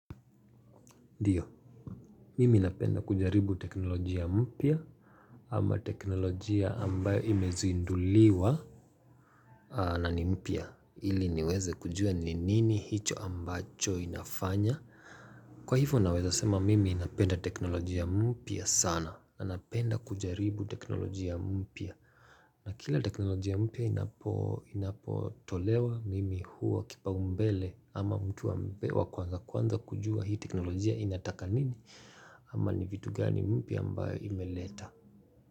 Ndio, mimi napenda kujaribu teknolojia mpya ama teknolojia ambayo imezinduliwa na ni mpya ili niweze kujua ni nini hicho ambacho inafanya Kwa hivyo naweza sema mimi napenda teknolojia mpya sana na napenda kujaribu teknolojia mpya na kila teknolojia mpya inapo tolewa mimi huwa kipaumbele ama mtu ambaye kwanza kwanza kujua hii teknolojia inataka nini ama ni vitu gani mpya ambayo imeleta.